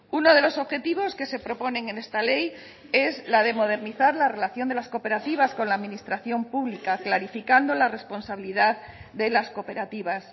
uno de los objetivos que se proponen en esta ley es la de modernizar la relación de las cooperativas con la administración pública clarificando la responsabilidad de las cooperativas